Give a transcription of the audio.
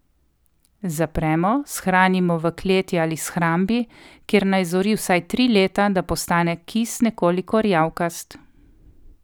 Zapremo, shranimo v kleti ali shrambi, kjer naj zori vsaj tri leta, da postane kis nekoliko rjavkast.